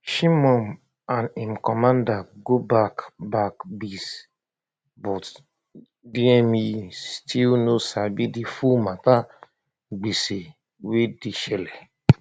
shimon and im commander go back back base but dme still no sabi di full mata gbege wey dey shele